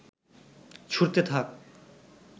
ছুড়তে থাক